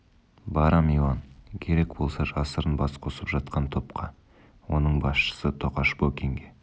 барам иван керек болса жасырын бас қосып жатқан топқа оның басшысы тоқаш бокинге